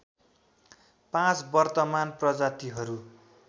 पाँच वर्तमान प्रजातिहरू